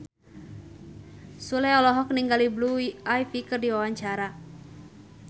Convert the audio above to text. Sule olohok ningali Blue Ivy keur diwawancara